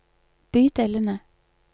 bydelene